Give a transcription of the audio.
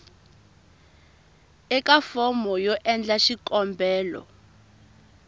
eka fomo yo endla xikombelo